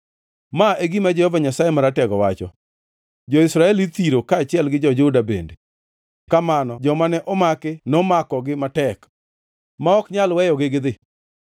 Ma e gima Jehova Nyasaye Maratego wacho: “Jo-Israel ithiro, kaachiel gi jo-Juda bende kamano. Joma ne omakogi nomakogi matek, ma ok nyal weyogi gidhi.